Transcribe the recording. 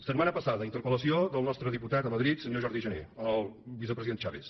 setmana passada interpel·lació del nostre diputat a madrid senyor jordi jané al vicepresident chaves